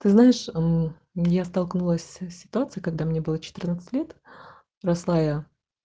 знаешь я столкнулась с ситуацией когда мне было лет